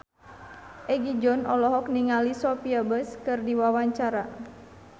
Egi John olohok ningali Sophia Bush keur diwawancara